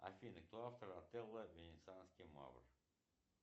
афина кто автор отелло венецианский мавр